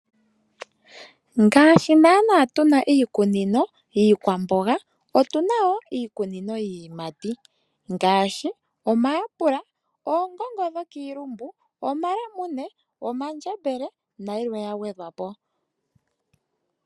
Ngaashi nanaa tuna iikunino yii kwamboga, otuna wo iikunino yii yimati ngaashi omaApple, oongongo dho kiilumbu, omalemune, omandjembele, na yilwe ya gwedhwapo.